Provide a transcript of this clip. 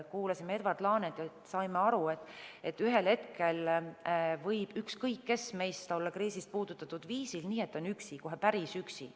Kuulasime Edward Laanet ja saime aru, et ühel hetkel võib ükskõik kes meist olla kriisist puudutatud viisil, nii et ta on üksi, kohe päris üksi.